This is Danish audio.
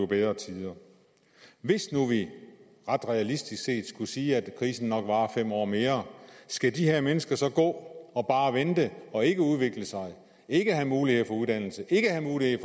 bedre tider hvis nu vi ret realistisk set skulle sige at krisen nok varer fem år mere skal de her mennesker så gå og vente og ikke udvikle sig ikke have mulighed for uddannelse ikke have mulighed